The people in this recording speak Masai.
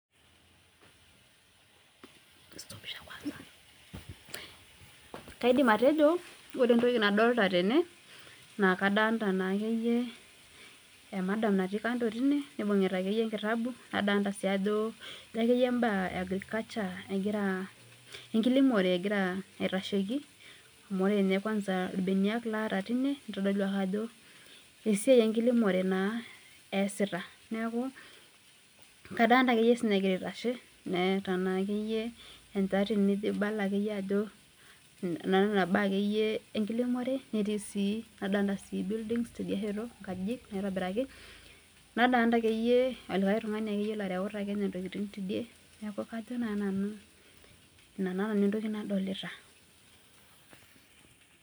Kaidim atejo ore entoki nadolita tene naa emadam natii kando tine nibungita enkitabu nadoolita sii mbaa e enkiremore egira aitashiki amu ore ilbenia itodolu ajo esiai enkiremore easita Neeta enjati naibala ajo enkiremore, nadolita inkajijik nadolita sii oltung'ani oreuta ntokiting tesiadi teidie Inaa naa entoki nadolita